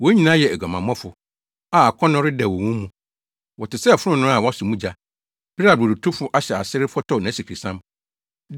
Wɔn nyinaa yɛ aguamammɔfo a akɔnnɔ redɛw wɔ wɔn mu. Wɔte sɛ fononoo a wɔasɔ mu gya bere a brodotofo ahyɛ ase refɔtɔw nʼasikresiam.